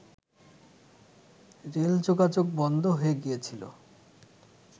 rail যোগাযোগ বন্ধ হয়ে গিয়েছিল